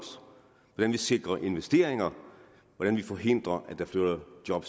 hvordan vi sikrer investeringer hvordan vi forhindrer at der flytter job